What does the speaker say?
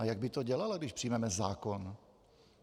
A jak by to dělala, když přijmeme zákon?